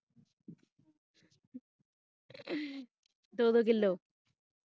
ਦੋ ਦੋ ਕਿੱਲੋ।